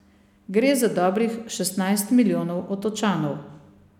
Gre za dobrih šestnajst milijonov Otočanov.